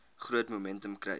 groot momentum kry